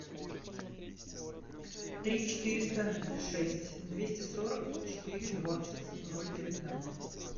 три четыреста шесть двести сорок четыре двадцать ноль девятнадцать